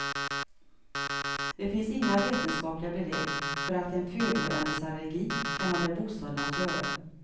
Det finns inga vetenskapliga belägg för att en födoämnesallergi kan ha med bostaden att göra.